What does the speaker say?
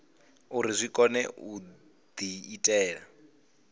uri zwi kone u diitela